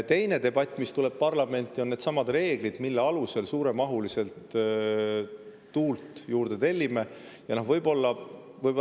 Teine debatt, mis tuleb parlamenti, on nendesamade reeglite üle, mille alusel suuremahuliselt tuule juurde tellime.